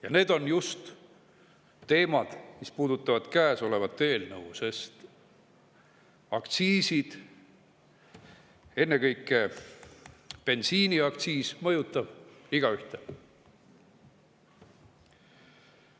Just need teemad puudutavad käesolevat eelnõu, sest aktsiisid, ennekõike bensiiniaktsiis, mõjutavad igaühte.